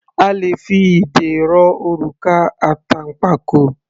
A le fi idẹ rọ òrùka àtànpàkò.